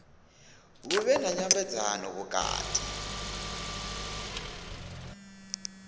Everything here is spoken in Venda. hu vhe na nyambedzano vhukati